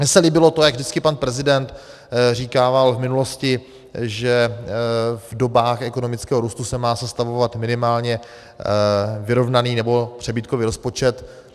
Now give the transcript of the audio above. Mně se líbilo to, jak vždycky pan prezident říkával v minulosti, že v dobách ekonomického růstu se má sestavovat minimálně vyrovnaný nebo přebytkový rozpočet.